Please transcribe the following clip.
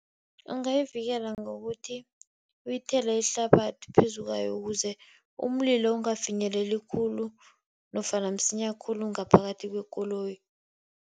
Ungayivikela ngokuthi uyithele ihlabathi phezu kwayo ukuze umlilo ungafinyeleli khulu nofana msinya khulu ngaphakathi kwekoloyi.